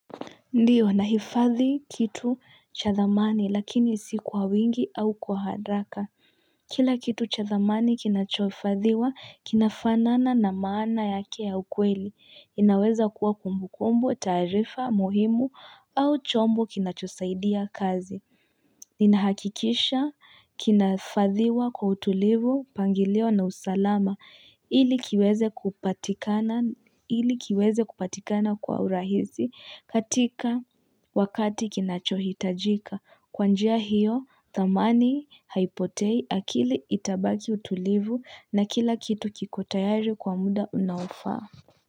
Ndiyo, nahifadhi kitu cha thamani lakini si kwa wingi au kwa haraka. Kila kitu cha thamani kinachohifadhiwa, kinafanana na maana yake ya ukweli. Inaweza kuwa kumbu kumbo, taarifa, muhimu au chombo kinachosaidia kazi. Ninahakikisha, kinahifadhiwa kwa utulivu, mpangilio na usalama. Ili kiweze kupatikana kwa urahisi katika wakati kinachohitajika. Kwa njia hiyo, thamani haipotei akili itabaki utulivu na kila kitu kiko tayari kwa muda unaofaa.